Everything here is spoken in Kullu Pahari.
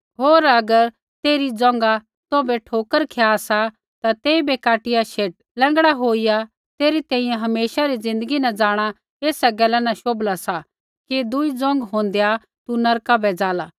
होर अगर तेरै पैर तौभै ठोकर खिया सा ता तेइबै काटिया शेट लैंगड़ा होईया तेरै तैंईंयैं हमेशा री ज़िन्दगी न जाँणा ऐसा गैला न शोभला सा कि दुई पैर होंदेआ तू नरका बै जाला